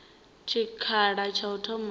tshikhala tsha lutombo na u